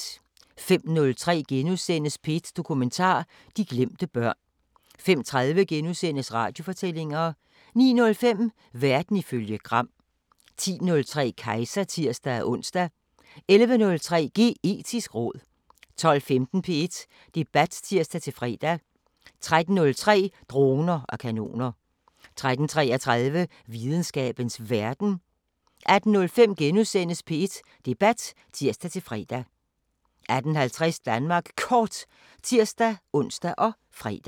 05:03: P1 Dokumentar: De glemte børn * 05:30: Radiofortællinger * 09:05: Verden ifølge Gram 10:03: Kejser (tir-ons) 11:03: Geetisk råd 12:15: P1 Debat (tir-fre) 13:03: Droner og kanoner 13:33: Videnskabens Verden 18:05: P1 Debat *(tir-fre) 18:50: Danmark Kort (tir-ons og fre)